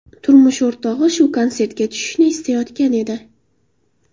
Turmush o‘rtog‘i shu konsertga tushishni istayotgan edi.